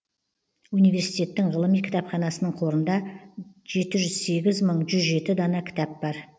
университеттің ғылыми кітапханасының қорында жеті жүз сегіз мың жүз жеті дана кітап бар